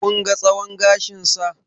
Kun ga tsawon gashinsa?